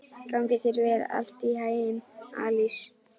Gangi þér allt í haginn, Alís.